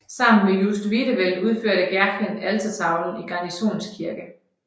Sammen med Just Wiedewelt udførte Gercken altertavlen i Garnisons Kirke